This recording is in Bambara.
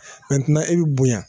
Mɛntɛnan i bɛ bonya.